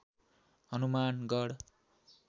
Hanumangarh